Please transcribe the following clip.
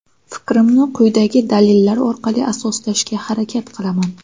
Fikrimni quyidagi dalillar orqali asoslashga harakat qilaman.